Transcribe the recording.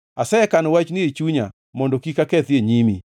Asekano wachni ei chunya mondo kik akethi e nyimi.